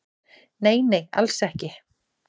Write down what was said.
"""Nei, nei, alls ekki."""